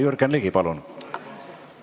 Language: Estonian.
Jürgen Ligi, palun!